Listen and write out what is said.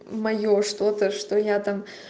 моё что-то что я там